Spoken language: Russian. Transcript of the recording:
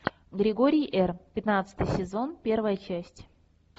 григорий р пятнадцатый сезон первая часть